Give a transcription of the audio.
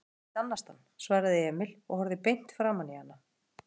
Ég veit að ég get annast hann, svaraði Emil og horfði beint framaní hana.